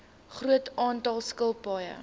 groot aantal skilpaaie